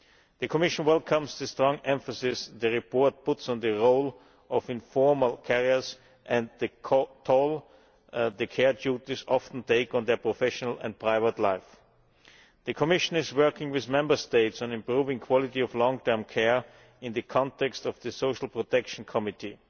The Commission welcomes the strong emphasis the report puts on the role of informal carers and the toll care duties often take on their professional and private lives. The Commission is working with Member States on improving the quality of long term care in the context of the Social Protection Committee.